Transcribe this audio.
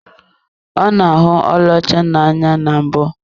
Ọ na-ahụ ọlaọcha n'anya na mbụ.